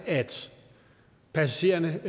er passagererne